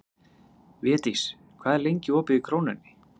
Védís, hvað er lengi opið í Krónunni?